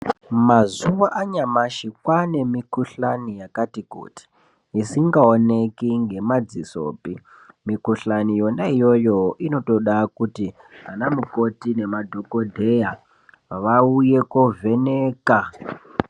Mazuwa anyamashi kwaane mikuhlani yakati kuti isingaoneki ngemadzisopi. Mikuhlani yona iyoyo inotoda kuti vana mukoti nemadhokodheya vauye kovheneka.